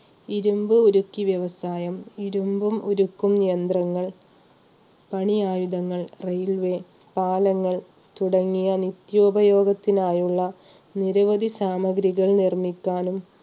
ഇരുമ്പ് ഉരുക്കിയ വ്യവസായം, ഇരുമ്പും ഉരുക്കും യന്ത്രങ്ങൾ, പണിയായുധങ്ങൾ RAILWAY, പാലങ്ങൾ തുടങ്ങിയ നിത്യോപയോഗത്തിന് ആയുള്ള നിരവധി സാമഗ്രികൾ നിർമ്മിക്കാനും